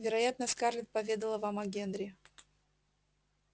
вероятно скарлетт поведала вам о генри